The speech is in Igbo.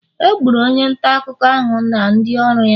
Egburu onye nta akụkọ ahụ na ndị ọrụ ya.